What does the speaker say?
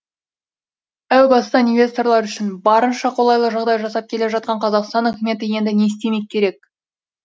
әу бастан инвесторлар үшін барынша қолайлы жағдай жасап келе жатқан қазақстан үкіметіне енді не істемек керек